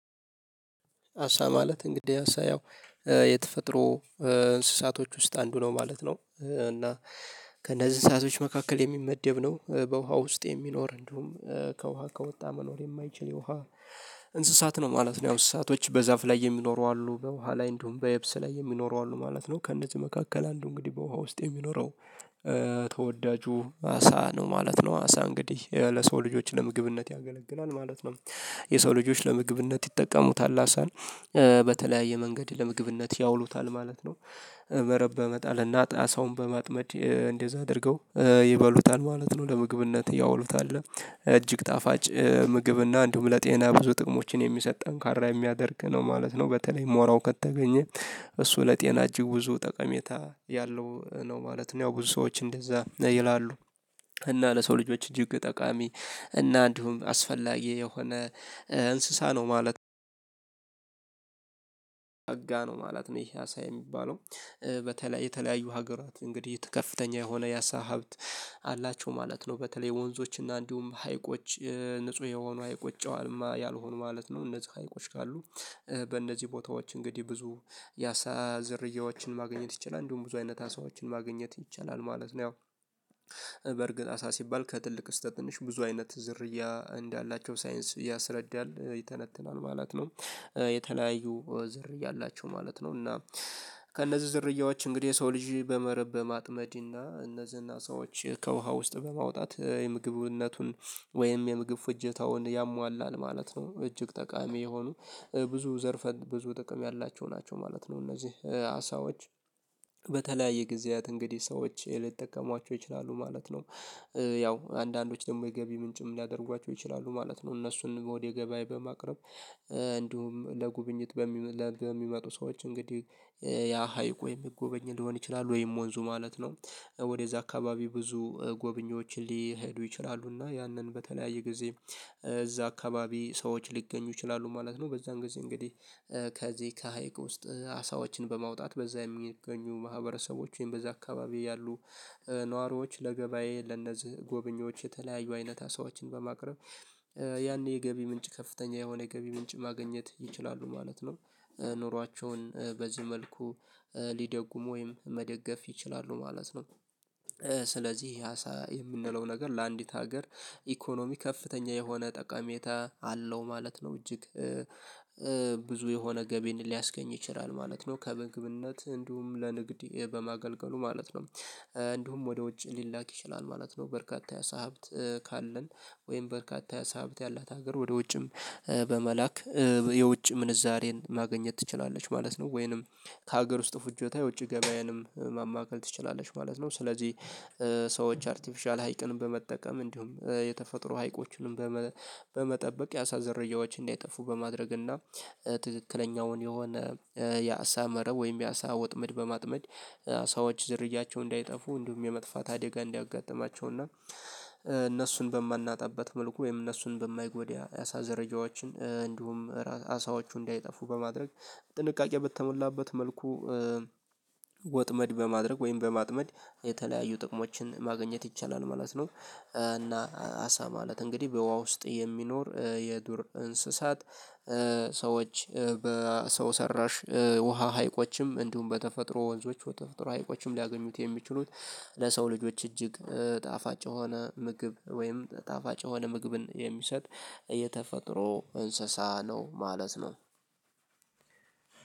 አሳ ማለት እንግዲህ አሳ ያው የተፈጥሮ እንስሳቶች ውስጥ አንዱ ነው ማለት ነው። እና ከእነዚህ ሰአቶች መካከል የሚመደብ ነው በውሃ ውስጥ የሚኖር እንዲሁም ከውሃ ከወጣ መኖር የማይችል የውሃ እንስሳት ነው ማለት ነው። ያው እንስሳቶች በዛፍ ላይ የሚኖሩ አሉ በውሃ ላይ እንደውም በየብስ ላይ የሚኖሩ አሉ ማለት ነው ከእነዚህ መካከል አንዱ እንግዲህ በውሃ ውስጥ የሚኖረው ተወዳጁ አሳ ነው ማለት ነው አሳ እንግዲህ ለሰው ልጆች ለምግብነት ያገለግላል ማለት ነው። የሰው ልጆች ለምግብነት ይጠቀሙታል አሳን በተለያየ መንገድ ለምግብነት ያውሉታል ማለት ነው። መረብ መጣል እና ጣሳውን በማጥመድ እንደዛ አድርገው ይበሉታል ማለት ነው ለምግብነት ያውሉታል እጅግ ጣፋጭ ምግብና እንደውም ለጤና ብዙ ጥቅሞችን የሚሰጥ ጠንካራ የሚያደርግ ነው ማለት ነው። በተለይ ሞራው ከተገኘ እሱ ለጤና እጅግ ብዙ ጠቀሜታ ያለው ነው ማለት ነው። ያው ብዙ ሰዎች እንደዛ ይላሉ እና ለሰው ልጆች እጅግ ጠቃሚ እና እንዲሁም አስፈላጊ የሆነ እንስሳ ነው ማለት። ኦሜጋ ነው ማለት ነው ይሄ አሳ የሚባለው በተለይ የተለያዩ ሀገራት እንግዲህ ከፍተኛ የሆነ ያሳ ሀብት አላቸው ማለት ነው። በተለይ ወንዞች እና እንዲሁም ሀይቆች ንጹህ የሆኑ አይቆጨዋልማ ያልሆኑ ማለት ነው። እነዚህ አይቆጭ ካሉ በእነዚህ ቦታዎች እንግዲህ ብዙ ያሳ ዘርያዎችን ማግኘት ይችላል እንዲሁም ብዙ አይነት አሳዎችን ማግኘት ይቻላል ማለት ነው። ያው በእርግጥ አሳ ሲባል ከትልቅ እስከ ትንሽ ብዙ አይነት ዝርያ እንዳላቸው ሳይንስ ያስረዳል ይተነትናል ማለት ነው። የተለያዩ ዘር ያላቸው ማለት ነው እና ከእነዚህ ዘርያዎች እንግዲህ የሰው ልጅ በመረብ በማጥመድ እና እነዚህና ሰዎች ከውሃ ውስጥ በማውጣት የምግብነቱን ወይም የምግብ ፍጀታውን ያሟላል ማለት ነው። እጅግ ጠቃሚ የሆኑ ብዙ ዘርፈን ብዙ ጥቅም ያላቸው ናቸው ማለት ነው። እነዚህ አሳዎች በተለያየ ጊዜያት እንግዲህ ሰዎች ልጠቀሟቸው ይችላሉ ማለት ነው። ያው አንዳንዶች ደግሞ የገቢ ምንጭም ሊያደርጓቸው ይችላሉ ማለት ነው። እነሱን ወደ ገበያ በማቅረብ እንዲሁም ለጉብኝት በሚመጡ ሰዎች እንግዲህ ያ ሀይቅ ወይም ጎብጎኝ ሊሆን ይችላል ወይም ወንዙ ማለት ነው። ወደዛ አካባቢ ብዙ ጎብኝዎች ሊሄዱ ይችላሉ እና ያንን በተለያየ ጊዜ እዛ አካባቢ ሰዎች ሊገኙ ይችላሉ ማለት ነው። በዛን ጊዜ እንግዲህ ከዚህ ከሀይቅ ውስጥ አሳዎችን በማውጣት በዛ የሚገኙ ማህበረሰቦች ወይም በዛ አካባቢ ያሉ ነዋሪዎች ለገበያዬ ለነዚህ ጎበኞች የተለያዩ አይነት ሰዎችን በማቅረብ ያኔ የገቢ ምንጭ ከፍተኛ የሆነ የገቢ ምንጭ ማግኘት ይችላሉ ማለት ነው። ኑሯቸውን በዚህ መልኩ ሊደጉም ወይም መደገፍ ይችላሉ ማለት ነው። ስለዚህ አሳ የምንለው ነገር ለአንዲት ሀገር ኢኮኖሚ ከፍተኛ የሆነ ጠቀሜታ አለው ማለት ነው። እጅግ ብዙ የሆነ ገቢን ሊያስገኝ ይችላል ማለት ነው። ከመግብነት እንዲሁም ለንግዴ በማገልገሉ ማለት ነው። እንዲሁም ወደ ውጭ ሊላክ ይችላል ማለት ነው። በርካታ ያሳብት ካለን ወይም በርካታ ያሳብት ያላት ሀገር ወደ ውጭም በመላክ የውጭ ምንዛሬን ማገኘት ትችላለች ማለት ነው። ወይንም ከሀገር ውስጥ ፍጆታ የውጭ ገበያዬንም ማማከል ትችላለች ማለት ነው። ስለዚህ ሰዎች አርቲፊሻል ሀይቅን በመጠቀም እንዲሁም የተፈጥሮ ሀይቆችንም በመጠበቅ የአሳ ዘርያዎችን እንዳይጠፉ በማድረግ እና ትክክለኛውን የሆነ የአሳ መረብ ወይም የአሳ ወጥመድ በማጥመድ ሰዎች ዝርያቸው እንዳይጠፉ እንዲሁም የመጥፋት አደጋ እንዲያጋጥማቸውና እነሱን በማናጣበት መልኩ ወይም እነሱን በማይጎዳ ያሳ ዝሮያጀዋችን እንዲሁም አሳዎቹ እንዳይጠፉ በማድረግ ጥንቃቄ በተሞላበት መልኩ ወጥመድ በማድረግ ወይም በማጥመድ የተለያዩ ጥቅሞችን ማገኘት ይቻላል ማለት ነው። እና አሳ ማለት እንግዲህ በውሃ ውስጥ የሚኖር የዱር እንስሳት ሰዎች በሰው ሰራሽ ውሃ ሀይቆችም እንዲሁም በተፈጥሮ ወንዞች በተፈጥሮ ሀይቆችም ሊያገኙት የሚችሉት ቀ ለሰው ልጆች እጅግ ጣፋጭ የሆነ ምግብ ወይም ጣፋጭ የሆነ ምግብን የሚሰጥ የተፈጥሮ እንስሳ ነው ማለት ነው። ው